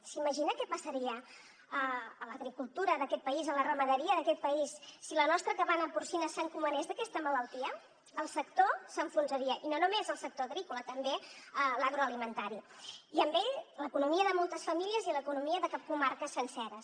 s’imagina que passaria a l’agricultura d’aquest país a la ramaderia d’aquest país si la nostra cabana porcina s’encomanés d’aquesta malaltia el sector s’enfonsaria i no només el sector agrícola també l’agroalimentari i amb ell l’economia de moltes famílies i l’economia de comarques senceres